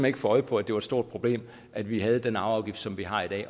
ikke få øje på at det var et stort problem at vi har den arveafgift som vi har i